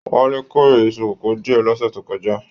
Wale k'ore Isu kòkò diẹ l'ọ́ṣẹ́ tó kọjá.